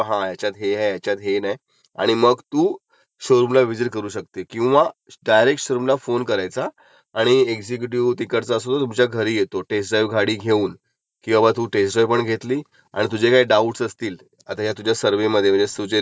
तुझ्या सर्व्हेमध्ये तू जेव्हा रिस्रच करशिल तेव्हा तू ते तेव्हा त्याला विचारायाचं की बाबा त्याच्यामध्ये हे आहे तुमच्याकडे नाही, मग तो ते टॅकल करून सांगेल की का नाहीये किंवा आमच्याकडे ह्याच्याएवजी हे आहे, आमची प्राइज कमी का आहे, सगळं जे गोष्टीत तो सर्व सागेल, ते डिसिजन घ्यायला बरं पडतयं.